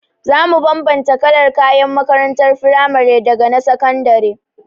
Za mu bambanta kalar kayan makarantar frimari daga na sakandare.